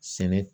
Sɛnɛ